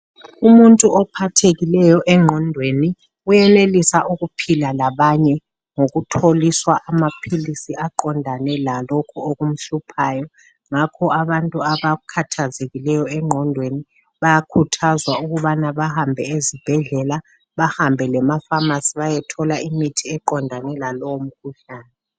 Umuntu ophathekileyo engqondweni uyenelisa ukuphila labanye ngokutholiswa amaphilisi aqondane lalokho okumhluphayo ngakho abantu abakhathazekileyo engqondweni bayakhuthazwa ukubana bahambe ezibhedlela bahambe lemafamasi bayethola imithi eqondane lalowomkhuhlane.